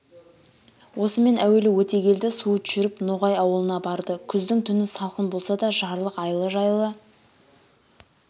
осымен әуелі өтегелді суыт жүріп ноғай ауылына барды күздің түні салқын болса да жарлық айлы жайлы